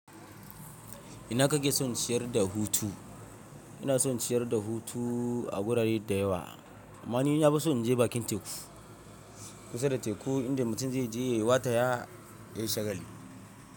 Ina kake son ci yar da hutu? Ina son ci yar da hutu a wurare da yawa, amma ni na fi son na je bakin teku. Kusa da teku inda mutum zai je ya yi wata ya yayi shagali.